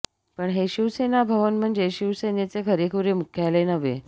पण हे शिवसेना भवन म्हणजे शिवसेनेचे खरेखुरे मुख्यालय नव्हे